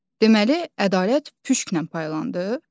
Deməli, ədalət püşklə paylandı?